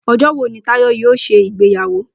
O̩jó̩ wo ni Táyò̩ yoo s̩e ìgbéyàwó?